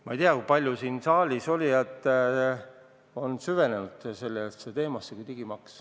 Ma ei tea, kui paljud siin saalis olijatest on süvenenud sellisesse teemasse kui digimaks.